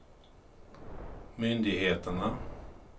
myndigheterna